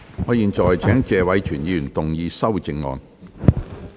我現在請謝偉銓議員動議修正案。